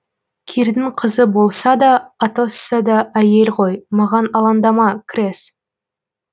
кирдің қызы болса да атосса да әйел ғой маған алаңдама крез